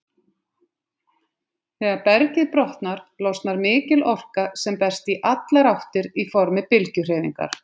Þegar bergið brotnar, losnar mikil orka sem berst í allar áttir í formi bylgjuhreyfingar.